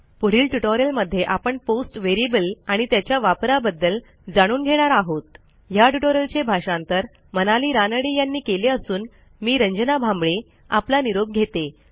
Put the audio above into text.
पुढील ट्युटोरियलमध्ये आपणpost व्हेरिएबल आणि त्याच्या वापराबद्दल जाणून घेणार आहोतया ट्युटोरियलचे भाषांतर मनाली रानडे यांनी केले असून मी रंजना भांबळे आपला निरोप घेते